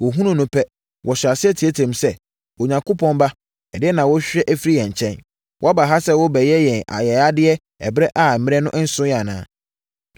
Wɔhunuu no pɛ, wɔhyɛɛ aseɛ teateaam sɛ, “Onyankopɔn Ba, ɛdeɛn na worehwehwɛ afiri yɛn nkyɛn? Woaba ha sɛ worebɛyɛ yɛn ayayadeɛ ɛberɛ a mmerɛ no nsoeɛ anaa?”